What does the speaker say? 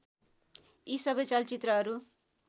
यी सबै चलचित्रहरू